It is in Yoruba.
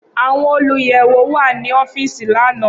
Awọn oluyẹwo wa ni ọfiisi lana.